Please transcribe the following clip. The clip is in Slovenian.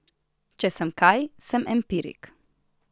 Če sem kaj, sem empirik.